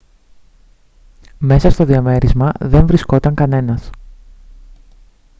μέσα στο διαμέρισμα δεν βρισκόταν κανένας